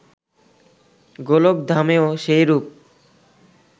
গোলকধামেও সেইরূপ